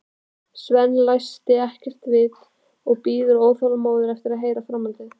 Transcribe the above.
Svenni læst ekkert vita, bíður óþolinmóður eftir að heyra framhaldið.